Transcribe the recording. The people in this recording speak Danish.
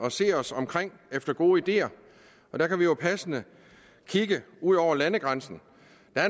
at se os omkring efter gode ideer der kan vi jo passende kigge ud over landegrænsen